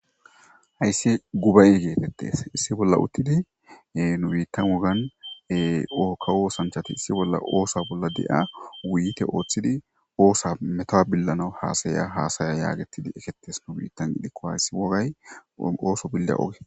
Hayssi gubay geetettees issi bolla uttidi nu biittan wogan ookka oosanchati issi bolla oosa bolla de'a wuyite ooththidi oosa metowa billana haasaya haasaya yaagetidi eketes nu biittan dhikko hayssi wogay ooso billa oge.